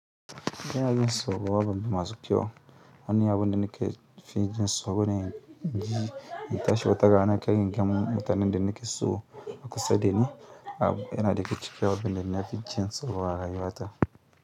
Kana yin sauraron masu kyau. Wani abu da nake fijin tsoro ne. Ei in tashi wata rana kar in ga mutanen da nake so a kusa dani. Abu yana daga kicin abun da nafi jin tsoro a rayuwa ta.